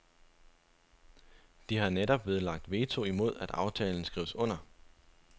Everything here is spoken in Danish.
De har netop nedlagt veto imod at aftalen skrives under.